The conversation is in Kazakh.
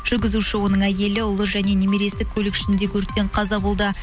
жүргізуші оның әйелі ұлы және немересі көлік ішіндегі өрттен қаза болды